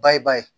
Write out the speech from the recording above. Bayɛbaa ye